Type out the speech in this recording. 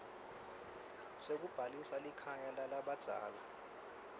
sekubhalisa likhaya lalabadzala